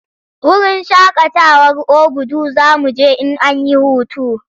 Wurin shakatawar Obudu za mu je in an yi hutu.